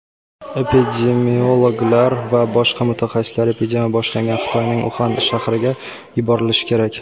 epidemiologlar va boshqa mutaxassislar epidemiya boshlangan Xitoyning Uxan shahriga yuborilishi kerak.